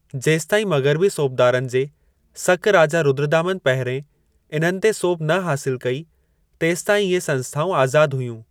जेसिताईं मग़रबी सोबदारनि जे सक राजा रुद्रदामन पहिरिएं इन्हनि ते सोभ न हासिल कई, तेसिताईं इहे संस्थाउं आज़ाद हुयूं।